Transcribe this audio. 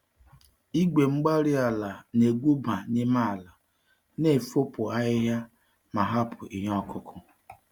Igwe-mgbárí-ala na-egwuba n'ime ala, na-efopụ ahịhịa, ma hapụ ihe okụkụ.